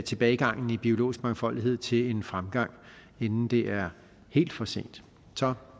tilbagegangen i biologisk mangfoldighed til en fremgang inden det er helt for sent så